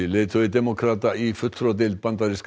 leiðtogi demókrata í fulltrúadeild bandaríska